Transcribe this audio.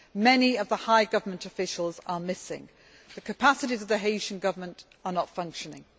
Many of the high government officials are missing. The capacities of the Haitian Government are not functioning.